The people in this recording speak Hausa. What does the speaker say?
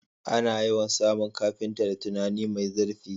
Ana yawan samun carpenter da tunani mai zirfi